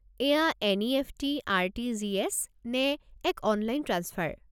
এইয়া NEFT., RTGS. নে এক অনলাইন ট্ৰাঞ্চফাৰ?